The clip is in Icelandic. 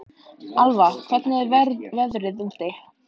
Alva, hvernig er veðrið úti?